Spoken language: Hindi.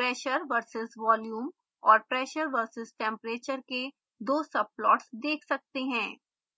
pressure v/s volume और pressure v/s temperature के दो subplots देख सकते हैं